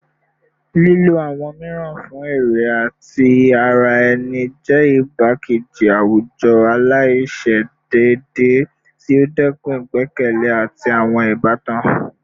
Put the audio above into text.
Lilo awọn miiran fun ere ti ara ẹni jẹ igbakeji awujọ alaiṣedeede ti o dẹkun igbẹkẹle ati awọn ibatan